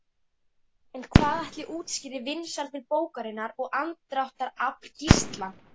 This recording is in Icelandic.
En hvað ætli útskýri vinsældir bókarinnar og aðdráttarafl Gísla?